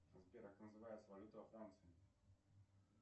сбер как называется валюта во франции